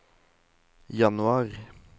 januar